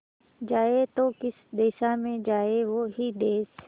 जाए तो किस दिशा में जाए वो ही देस